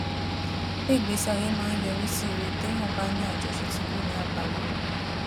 pé ìgbésí ayé máa ń yọrí sí rere téèyàn bá ń ní àjọṣe tí kò ní àbámọ